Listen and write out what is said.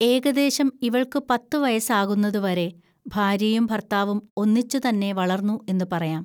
ഏകദേശം ഇവൾക്കു പത്തുവയസ്സാകുന്നതുവരെ ഭാര്യയും ഭർത്താവും ഒന്നിച്ച് തന്നെ വളർന്നു എന്നുപറയാം